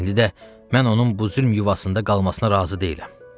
İndi də mən onun bu zülm yuvasında qalmasına razı deyiləm.